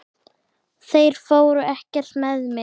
Þeir fóru ekkert með mig!